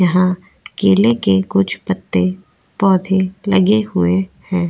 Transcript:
यहाँ केले के कुछ पत्ते पौधे लगे हुए हैं --